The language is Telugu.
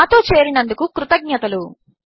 మాతో చేరినందుకు కృతజ్ఞతలు